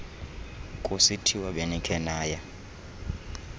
kusithiwa benikhe naya